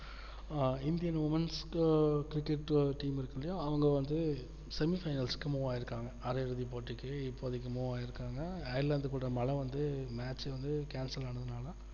ஆஹ் indian womens cricket team இருக்குல்லையா அவங்க வந்து semi finals move ஆயிருக்காங்க அரையிட போட்டிக்கு இப்போதைக்கு move ஆயிருக்காங்க airland கூட மழை வந்து match வந்து cancel ஆனதுனால